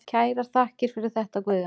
Kærar þakkir fyrir þetta Guðjón.